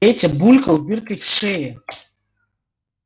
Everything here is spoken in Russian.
петя булькал дыркой в шее